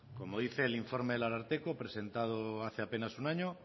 como dice el informe del ararteko presentado hace apenas un año